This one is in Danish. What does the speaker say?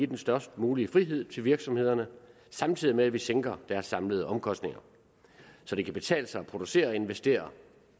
den størst mulige frihed til virksomhederne samtidig med at vi sænker deres samlede omkostninger så det kan betale sig at producere og investere